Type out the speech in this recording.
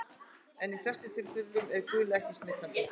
En í flestum tilfellum er gula ekki smitandi.